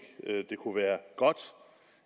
det kunne være godt